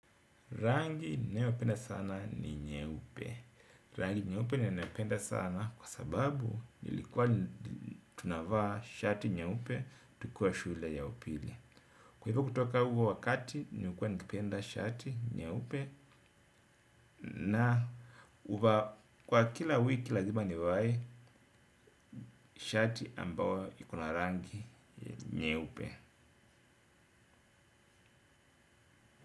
Rangi nayopenda sana ni nyeupe. Rangi nyeupe ninaipenda sana kwa sababu nilikuwa tunavaa shati nyeupe tukiwa shule ya upili. Kwa hivyo kutoka huo wakati nilikuwa nikipenda shati nyeupe na huvaa kwa kila wiki lazima nivae shati ambao ikona rangi nyeupe.